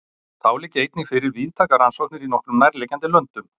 Þá liggja einnig fyrir víðtækar rannsóknir í nokkrum nærliggjandi löndum.